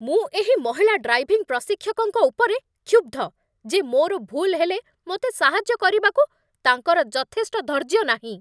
ମୁଁ ଏହି ମହିଳା ଡ୍ରାଇଭିଂ ପ୍ରଶିକ୍ଷକଙ୍କ ଉପରେ କ୍ଷୁବ୍ଧ ଯେ ମୋର ଭୁଲ୍ ହେଲେ ମୋତେ ସାହାଯ୍ୟ କରିବାକୁ ତାଙ୍କର ଯଥେଷ୍ଟ ଧୈର୍ଯ୍ୟ ନାହିଁ